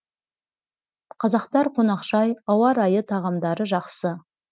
қазақтар қонақжай ауа райы тағамдары жақсы